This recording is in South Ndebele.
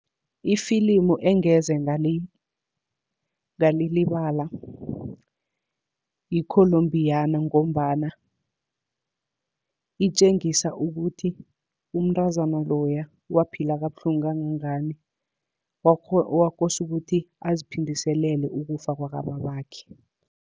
Ifilimu engeze ngalilibala yi-Columbiana, ngombana itjengisa ukuthi umntazana loya waphila kabuhlungu kangangani. Kwakose ukuthi aziphindiselele ukufa kwakababakhe.